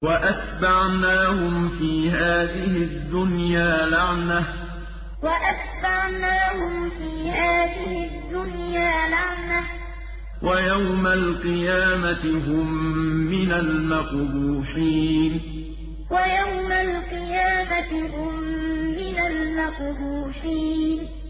وَأَتْبَعْنَاهُمْ فِي هَٰذِهِ الدُّنْيَا لَعْنَةً ۖ وَيَوْمَ الْقِيَامَةِ هُم مِّنَ الْمَقْبُوحِينَ وَأَتْبَعْنَاهُمْ فِي هَٰذِهِ الدُّنْيَا لَعْنَةً ۖ وَيَوْمَ الْقِيَامَةِ هُم مِّنَ الْمَقْبُوحِينَ